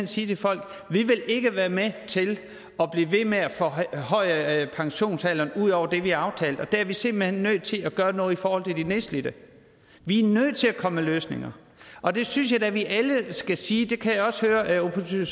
sige til folk vi vil ikke være med til at blive ved med at forhøje pensionsalderen ud over det vi har aftalt og der er vi simpelt hen nødt til at gøre noget i forhold til de nedslidte vi er nødt til at komme med løsninger og det synes jeg da vi alle skal sige det kan jeg også høre at resten